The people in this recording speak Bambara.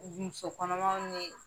Muso kɔnɔmanw ni